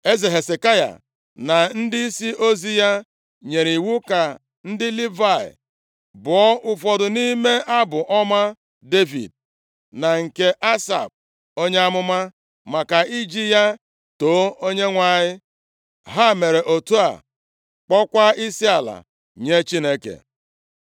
Eze Hezekaya na ndịisi ozi ya nyere iwu ka ndị Livayị bụọ ụfọdụ nʼime abụ ọma Devid, na nke Asaf onye amụma, maka iji ya too Onyenwe anyị. Ha mere otu a, kpọọkwa isiala nye Chineke.